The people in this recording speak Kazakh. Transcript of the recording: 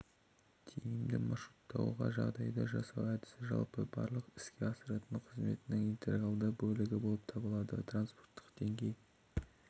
тиімді маршруттауға жағдай жасау әдісі жалпы барлық іске асыратын қызметінің интегралды бөлігі болып табылады транспорттық деңгей